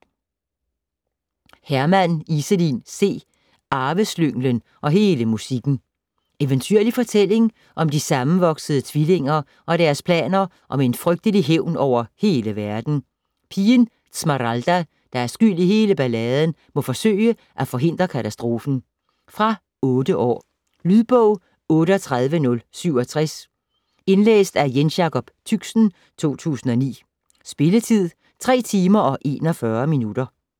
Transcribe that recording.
Hermann, Iselin C.: Arveslynglen og hele musikken Eventyrlig fortælling om de sammenvoksede tvillinger og deres planer om en frygtelig hævn over hele verden. Pigen Zmaralda, der er skyld i hele balladen, må forsøge at forhindre katastrofen. Fra 8 år. Lydbog 38067 Indlæst af Jensjacob Tychsen, 2009. Spilletid: 3 timer, 41 minutter.